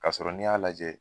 Ka sɔrɔ n'i y'a lajɛ